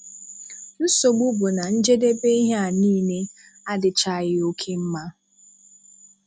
Nsogbu bụ na njedebe ihe a niile adịchaghị oke mma.